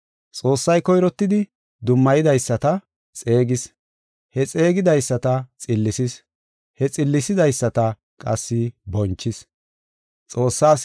Xoossay koyrottidi dummayidaysata xeegis; he xeegidaysata xillisis; he xillisidaysata qassi bonchis.